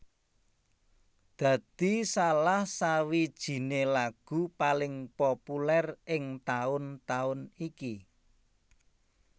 dadi salah sawijiné lagu paling populer ing taun taun iki